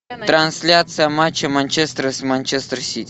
трансляция матча манчестера с манчестер сити